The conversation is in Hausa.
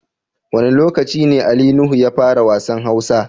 Wane locaci ne Ali Nuhu ya fara wassan Hausa?